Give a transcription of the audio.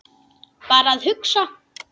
Bara að hugsa.